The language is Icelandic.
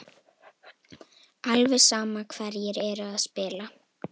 Alveg sama hverjir eru að spila.